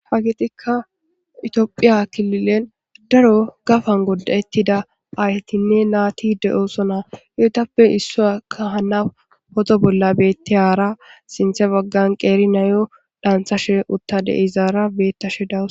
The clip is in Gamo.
Ha getikka itophiya kililen daro gafan godda'ettida aayetinne naati de7osona. Etappe issuyakka hana poto bolla beettiyaara sinthe baggan qeeri nayo dhaanthashe uttada de7izaara beettashe da'awus.